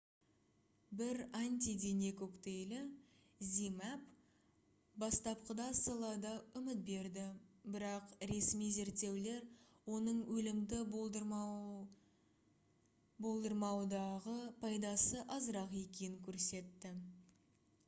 бір антидене коктейлі zmapp бастапқыда салада үміт берді бірақ ресми зерттеулер оның өлімді болдырмаудағы пайдасы азырақ екенін көрсетті